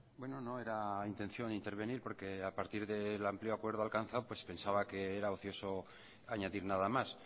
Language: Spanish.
bueno no era intención intervenir porque a partir del amplio acuerdo alcanzado pues pensaba que era ocioso añadir nada más